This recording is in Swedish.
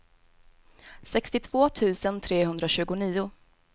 sextiotvå tusen trehundratjugonio